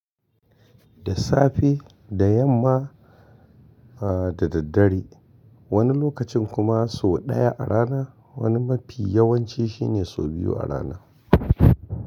Da safe, da yamma, a da daddare. Wani lokacin kuma sau ɗaya a rana. Wani mafi yawanci shine sau biyu a rana.